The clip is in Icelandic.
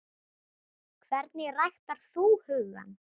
Hvernig ræktar þú hugann?